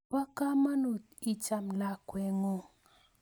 Po kamanut icham lakweng'ung'